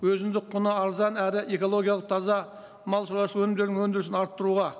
өзімдік құны арзан әрі экологиялық таза мал шаруашылық өнімдерінің өндірісін арттыруға